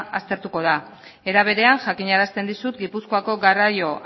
aztertuko da era berean jakinarazten dizut gipuzkoako garraio